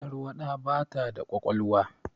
Tarwaɗa ba ta da ƙwaƙwalwa